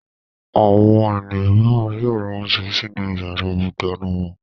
Àwọn ènìyàn mìíràn yóò ra oúnjẹ sinú ìyàrá-ìdáná wọn.